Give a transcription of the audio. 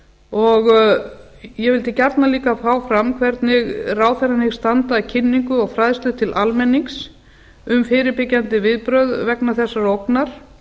og ég vildi gjarnan líka fá fram hvernig ráðherrann hyggst standa að kynningu og fræðslu til almennings um fyrirbyggjandi viðbrögð vegna þessarar ógnar